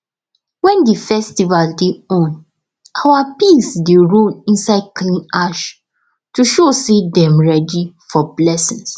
wen the festival dey on our pigs dey roll inside clean ash to show say dem ready for blessings